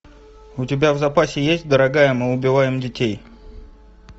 у тебя в запасе есть дорогая мы убиваем детей